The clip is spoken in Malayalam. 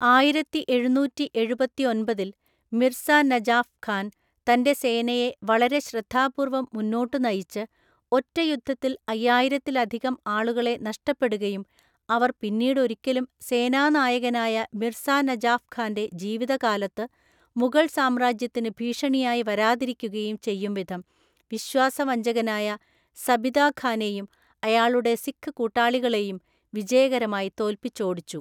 ആയിരത്തിഎഴുന്നൂറ്റിഎഴുപത്തിഒൻപതിൽ മിർസ നജാഫ് ഖാൻ തൻ്റെ സേനയെ വളരെ ശ്രദ്ധാപൂർവ്വം മുന്നോട്ടു നയിച്ച്, ഒറ്റ യുദ്ധത്തിൽ അയ്യായിരത്തിലധികം ആളുകളെ നഷ്ടപ്പെടുകയും അവർ പിന്നീടൊരിക്കലും സേനാനായകനായ മിർസാ നജാഫ് ഖാൻ്റെ ജീവിതകാലത്ത് മുഗൾ സാമ്രാജ്യത്തിന് ഭീഷണിയായി വരാതിരിക്കുകയും ചെയ്യുംവിധം വിശ്വാസവഞ്ചകനായ സബിതാഖാനെയും അയാളുടെ സിഖ് കൂട്ടാളികളെയും വിജയകരമായി തോൽപ്പിച്ചോടിച്ചു.